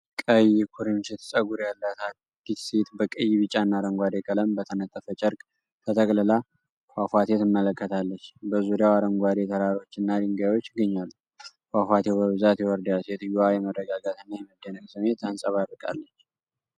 ቀይ ኩርንችት ፀጉር ያላት አንዲት ሴት በቀይ፣ ቢጫና አረንጓዴ ቀለም በተነጠፈ ጨርቅ ተጠቅልላ ፏፏቴ ትመለከታለች። በዙሪያው አረንጓዴ ተራሮችና ድንጋዮች ይገኛሉ፤ ፏፏቴው በብዛት ይወርዳል። ሴትዮዋ የመረጋጋትና የመደነቅ ስሜት ታንጸባርቃለች።